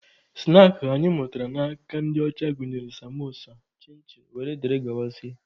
Snaakị anyị mụtara n'aka ndị ọcha gụnyere samosa, chin chin wdg.